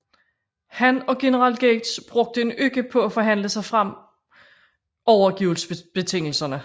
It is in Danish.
Han og general Gates brugte en uge på at forhandle sig frem overgivelsesbetingelserne